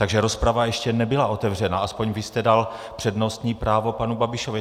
Takže rozprava ještě nebyla otevřena, aspoň vy jste dal přednostní právo panu Babišovi.